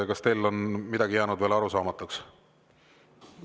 Kas teile on midagi jäänud veel arusaamatuks?